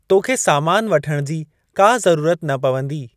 तोखे सामान वठणु जी का ज़रूरत न पवंदी।